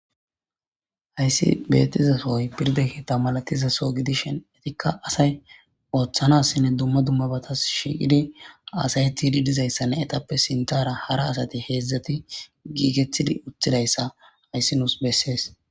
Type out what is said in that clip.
Hayisi betiza soy firda keeththa malatiza so gidishin ika asay otanasinne dumma dumma batas shiiqidi hasayetidi didayisanne etappe sintara hara asati heedzdzati gigetidi utidayisa hayis nus beses.